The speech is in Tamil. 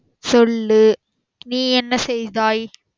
சொல்லு நீ என்ன செய்தாய்